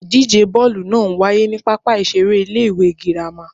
Ìdíje bọ́ọ̀lù naa n waye ni pápá ìseré Ilé ìwé Girama